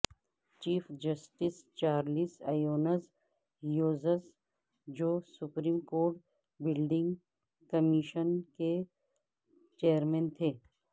chief justice Charles Evans Hughes جو Supreme Court Building Commission کے chairman تھے